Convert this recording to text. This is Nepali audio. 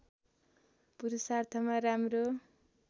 पुरुषार्थमा राम्रो